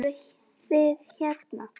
Fóruð þið hérna?